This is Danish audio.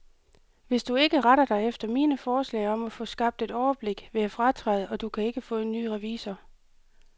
Hvis du ikke retter dig efter mine forslag om at få skabt et overblik, vil jeg fratræde, og du kan ikke få en ny revisor.